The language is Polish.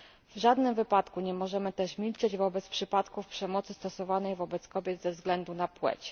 W żadnym wypadku nie możemy też milczeć wobec przypadków przemocy stosowanej wobec kobiet ze względu na płeć.